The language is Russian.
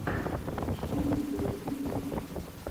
включи мне интервью на ютюбе